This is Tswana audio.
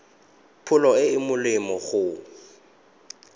pholo e e molemo go